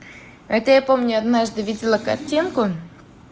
это я помню однажды видела картинку